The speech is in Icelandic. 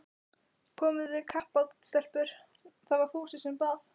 Komið þið í kappát stelpur? það var Fúsi sem bað.